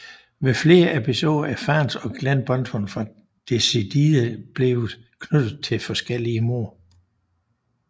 Ved flere episoder er fans af Glen Benton fra Deicide blevet knyttet til forskellige mord